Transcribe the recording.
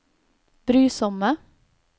brysomme